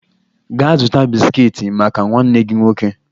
Gaa zụta bisikiiti maka nwanne gị nwoke